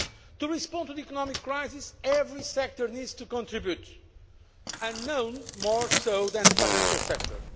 To respond to the economic crisis, every sector needs to contribute, and none more so than the financial sector.